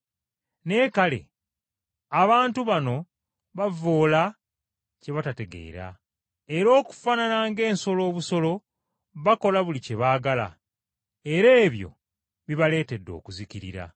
Naye kale abantu bano bavvoola kye batategeera, era okufaanana ng’ensolo obusolo bakola buli kye baagala, era ebyo bibaleetedde okuzikirira.